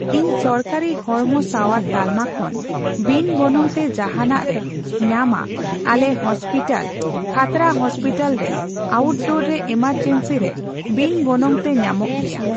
ᱤᱧ ᱥᱚᱨᱠᱟᱨᱤ ᱦᱚᱲᱢᱚ ᱥᱟᱣᱟᱨ ᱛᱟᱞᱢᱟ ᱠᱷᱚᱱ ᱵᱤᱱ ᱜᱚᱱᱚᱝᱛᱮ ᱡᱟᱦᱟᱱᱟᱜ ᱨᱮ ᱧᱟᱢᱟ ᱟᱞᱮ ᱦᱚᱥᱯᱤᱴᱟᱞ ᱠᱷᱟᱛᱲᱟ ᱦᱚᱥᱯᱤᱴᱟᱞ ᱨᱮ ᱟᱣᱩᱴᱰᱳᱨ ᱨᱮ ᱮᱢᱟᱨᱡᱮᱱᱥᱤ ᱨᱮ ᱵᱤᱱ ᱜᱚᱱᱚᱝᱛᱮ ᱧᱟᱢᱚᱜ ᱜᱮᱭᱟ ᱾